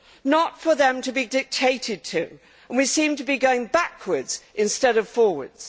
not for them to be dictated to and we seem to be going backwards instead of forwards.